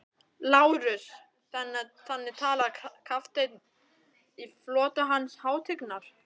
LÁRUS: Þannig talar kafteinn í flota Hans hátignar?